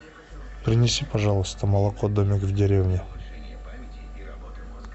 принеси пожалуйста молоко домик в деревне